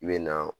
I bɛ na